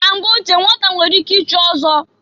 Na mgbe ochie nnwata nwere ike ichi ọzọ.